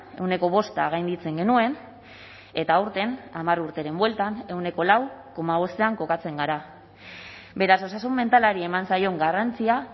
ehuneko bosta gainditzen genuen eta aurten hamar urteren bueltan ehuneko lau koma bostean kokatzen gara beraz osasun mentalari eman zaion garrantzia